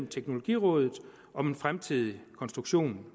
teknologirådet om en fremtidig konstruktion